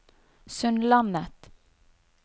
Sundlandet